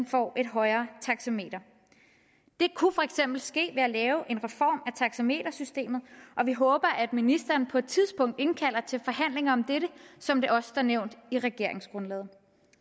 får et højere taxameter det kunne for eksempel ske ved at lave en reform af taxametersystemet og vi håber at ministeren på et tidspunkt indkalder til forhandlinger om dette som det også står nævnt i regeringsgrundlaget